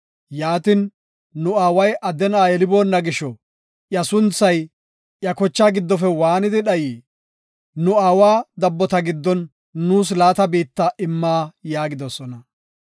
Yaatin, nu aaway adde na7a yeliboona gisho iya sunthay iya kochaa giddofe waanidi dhayii? Nu aawa dabbota giddon nuus laata biitta imma” gidoosona.